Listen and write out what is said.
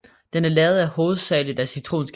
Den er lavet hovedsageligt af citronskal